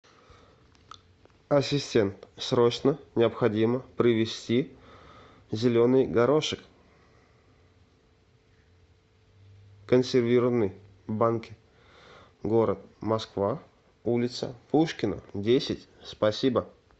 ассистент срочно необходимо привезти зеленый горошек консервированный в банке город москва улица пушкина десять спасибо